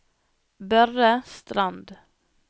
Børre Strand